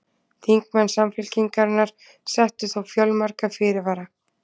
Þingmenn Samfylkingarinnar settu þó fjölmarga fyrirvara